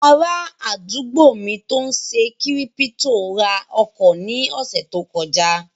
Ará àdúgbò mi tó n ṣe kírípítò ra ọkọ̀ ní ọ̀sẹ̀ tó kọjá